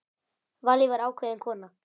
Vallý var ákveðin kona.